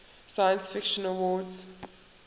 science fiction awards